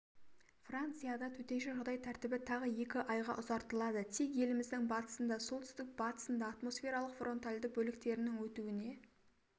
францияда төтенше жағдай тәртібі тағы екі айға ұзартылады тек еліміздің батысында солтүстік-батысында атмосфералық фронтальды бөліктердің өтуіне